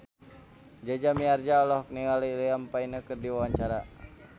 Jaja Mihardja olohok ningali Liam Payne keur diwawancara